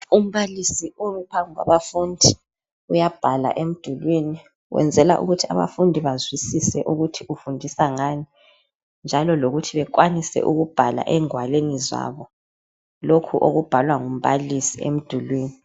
Umbalisi umi phambi kwabafundi uyabhala emdulini. Wenzela ukuthi abafundi bazwisise ukuthi ufundisa ngani njalo lokuthi bekwanise ukubhala engwalweni zabo lokhu okubhalwa ngumbalisi emdulwini .